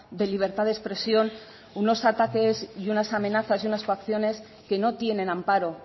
de libertad de expresión unos ataques unas amenazas y unas coacciones que no tienen amparo